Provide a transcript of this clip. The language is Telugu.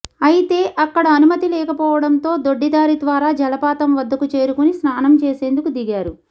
అయితే అక్కడ అనుమతి లేకపోవడంతో దొడ్డిదారి ద్వారా జలపాతం వద్దకు చేరుకొని స్నానం చేసేందుకు దిగారు